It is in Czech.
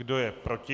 Kdo je proti?